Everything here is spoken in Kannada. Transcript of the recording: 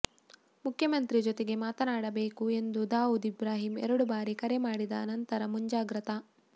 ಮುಖ್ಯಮಂತ್ರಿ ಜೊತೆಗೆ ಮಾತನಾಡಬೇಕು ಎಂದು ದಾವುದ್ ಇಬ್ರಾಹಿಂ ಎರಡು ಬಾರಿ ಕರೆ ಮಾಡಿದ ನಂತರ ಮುಂಜಾಗ್ರತಾ